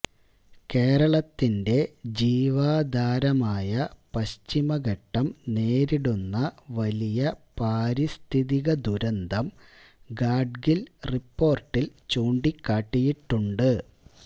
കേരളത്തിന്റെ ജീവാധാരമായ പശ്ചിമഘട്ടം നേരിടുന്ന വലിയ പാരിസ്ഥിതികദുരന്തം ഗാഡ്ഗിൽ റിപ്പോർട്ടിൽ ചൂണ്ടിക്കാട്ടിയിട്ടുണ്ട്